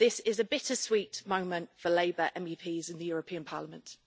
This is a bittersweet moment for Labour MEPs in the European Parliament.